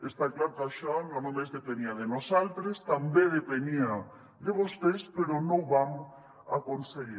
està clar que això no només depenia de nosaltres també depenia de vostès però no ho vam aconseguir